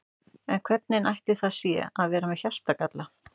En hvernig ætli það sé að vera með hjartagalla?